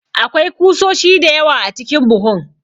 Akwai kusoshi da yawa a cikin buhun.